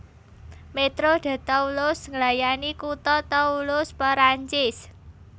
Métro de Toulouse nglayani kutha Toulouse Perancis